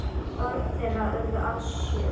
Börn þeirra urðu alls sjö.